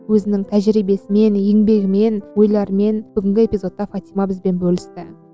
өзінің тәжірибесімен еңбегімен ойларымен бүгінгі эпизодта фатима бізбен бөлісті